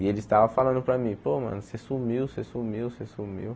E eles estavam falando para mim, pô mano, você sumiu, você sumiu, você sumiu.